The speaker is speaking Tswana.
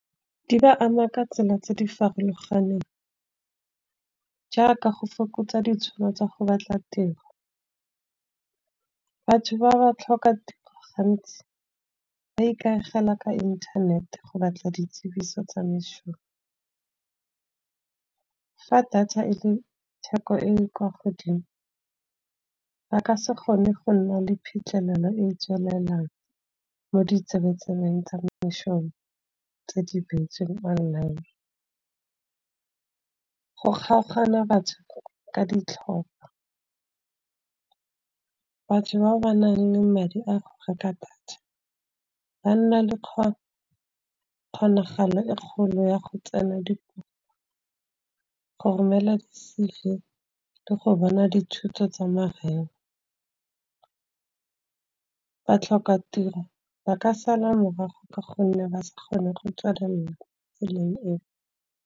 Di ba ama ka tsela tse di farologaneng jaaka go fokotsa ditšhono tsa go batla tiro. Batho ba ba tlhoka gantsi ba ikaegela ka internet go batla ditsebiso tsa meshomo. Fa data e le theko e e kwa godimo, ba ka se gone go nna le phitlhelelo e e tswelelang mo ditsebeng-tsebeng tsa mešomo, tse di beetsweng online. Go kgaogana batho ka ditlhopha, batho bao ba nang le madi a go reka data, ba nna le kgonagalo e kgolo ya go tsena go romela di-C_V le go bona dithuto tsa mahala. Ba tlhoka tiro ba ka sala morago ka gonne ba sa kgone go tswelela tseleng eo.